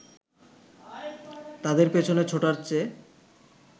তাদের পেছনে ছোটার চেয়ে